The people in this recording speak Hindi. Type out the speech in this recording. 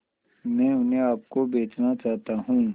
मैं उन्हें आप को बेचना चाहता हूं